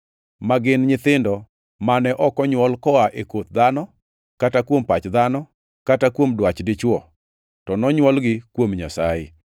ma gin nyithindo mane ok onywol koa e koth dhano, kata kuom pach dhano, kata kuom dwach dichwo, to nonywolgi kuom Nyasaye.